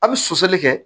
A bɛ soli kɛ